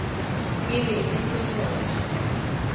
e be e se motho